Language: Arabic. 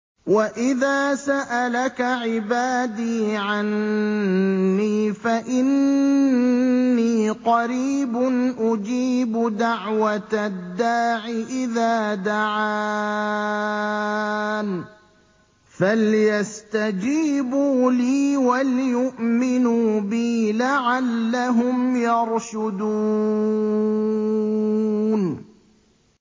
وَإِذَا سَأَلَكَ عِبَادِي عَنِّي فَإِنِّي قَرِيبٌ ۖ أُجِيبُ دَعْوَةَ الدَّاعِ إِذَا دَعَانِ ۖ فَلْيَسْتَجِيبُوا لِي وَلْيُؤْمِنُوا بِي لَعَلَّهُمْ يَرْشُدُونَ